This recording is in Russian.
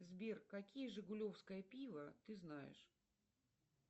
сбер какие жигулевское пиво ты знаешь